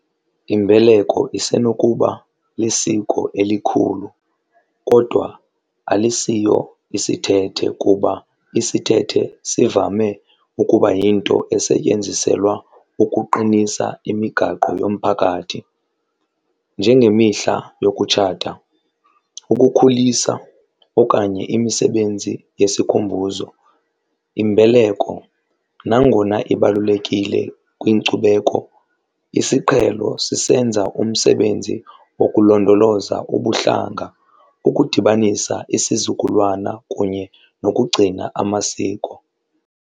Imbeleko isenokuba lisiko elikhulu kodwa alisiyo isithethe kuba isithethe sivame ukuba yinto esetyenziselwa ukuqinisa imigaqo yomphakathi njengemihla yokutshata, ukukhulisa okanye imisebenzi yesikhumbuzo. Imbeleko nangona ibalulekile kwinkcubeko isiqhelo sisenza umsebenzi wokulondoloza ubuhlanga, ukudibanisa isizukulwana kunye nokugcina amasiko.